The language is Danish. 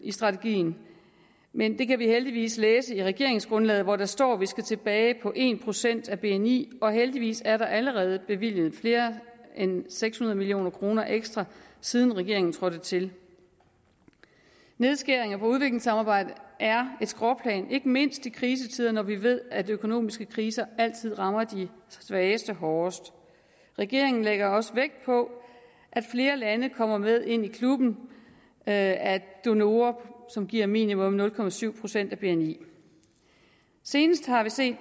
i strategien men det kan vi heldigvis læse i regeringsgrundlaget hvor der står at vi skal tilbage på en procent af bni og heldigvis er der allerede bevilget mere end seks hundrede million kroner ekstra siden regeringen trådte til nedskæringer på udviklingssamarbejdet er et skråplan ikke mindst i krisetider når vi ved at økonomiske kriser altid rammer de svageste hårdest regeringen lægger også vægt på at flere lande kommer med ind i klubben af donorer som giver minimum nul procent procent af bni senest har vi set